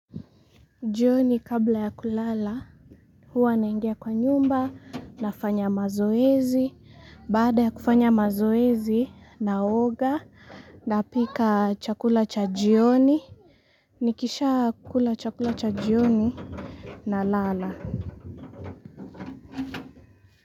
Jioni kabla ya kulala, huwa naingia kwa nyumba, nafanya mazoezi, baada ya kufanya mazoezi naoga, napika chakula cha jioni. Nikisha kukula chakula cha jioni nalala.